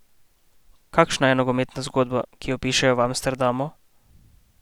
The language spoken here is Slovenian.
Kakšna je nogometna zgodba, ki jo pišejo v Amsterdamu?